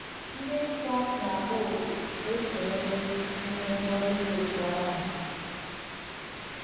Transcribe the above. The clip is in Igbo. Ndị nsọ na-akpọ oku ka e sonyere n’ihe ngọzi dị otú ahụ.